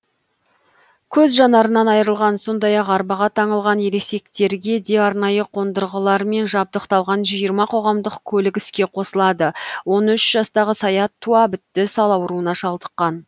көз жанарынан айрылған сондай ақ арбаға таңылған ересектерге де арнайы қондырғылармен жабдықталған жиырма қоғамдық көлік іске қосылады он үш жастағы саят туа бітті сал ауруына шалдыққан